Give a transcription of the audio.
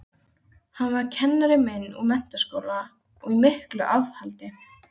Hann var kennari minn úr menntaskóla og í miklu afhaldi.